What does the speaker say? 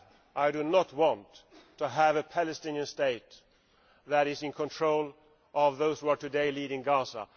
I do not want to have a Palestinian state that is in control of those who are today leading Gaza.